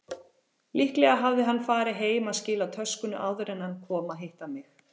Líklega hafði hann farið heim að skila töskunni áður en hann kom að hitta mig.